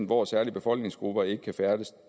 hvor særlige befolkningsgrupper ikke kan færdes